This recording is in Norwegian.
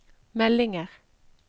meldinger